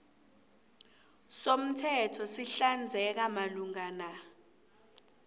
somthetho sihlinzeka malungana